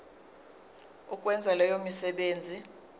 ukwenza leyo misebenzi